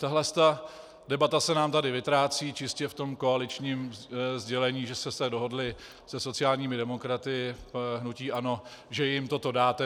Tahle debata se nám tady vytrácí čistě v tom koaličním sdělení, že jste se dohodli se sociálními demokraty - hnutí ANO, že jim toto dáte.